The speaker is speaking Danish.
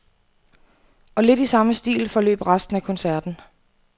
Og lidt i samme stil forløb resten af koncerten.